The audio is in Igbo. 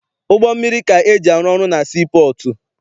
Ụgbọ mmiri ka eji arụ ọrụ na sii pọọtụ.